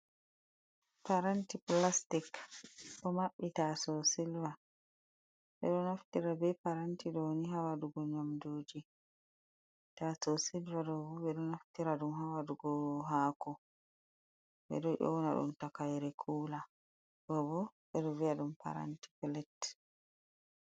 Paranti plastik ɗo maɓɓi taaso silva. Ɓe ɗo naftira be paranti ɗo ni haa waɗugo nyamduuji, taaso silva ɗo bo ɓe ɗo naftira ɗum haa waɗugo haako. Ɓe ɗo nyona ɗum takayre kula, ɗo bo ɓe ɗo vi'a ɗum paranti pilet.